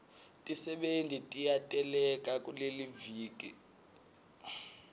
tisebenti tiyateleka kuleliviki